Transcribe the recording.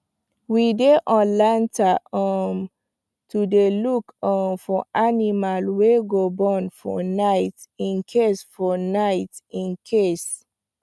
we dy on lantern um to dy look um for animal wy go born for night incase for night incase